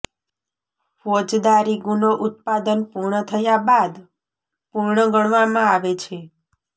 ફોજદારી ગુનો ઉત્પાદન પૂર્ણ થયા બાદ પૂર્ણ ગણવામાં આવે છે